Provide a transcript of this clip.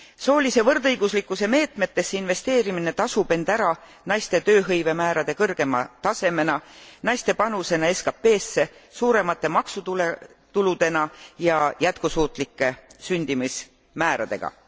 Soolise võrdõiguslikkuse meetmetesse investeerimine tasub end ära naiste tööhõivemäärade kõrgema tasemena, naiste panusena SKPsse, suuremate maksutuludena ja jätkusuutlike sündimusmääradega.